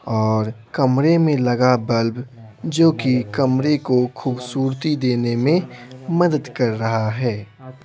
और कमरे में लगा बल्ब जो किकमरे को खूबसूरती देने में मदद कर रहा है।